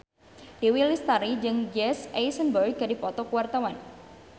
Dewi Lestari jeung Jesse Eisenberg keur dipoto ku wartawan